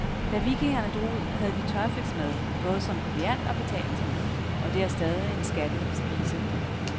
Da vikingerne drog ud, havde de tørfisk med, både som proviant og betalingsmiddel, og det er stadig en skattet spise.